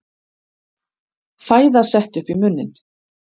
Fæða sett upp í munninn.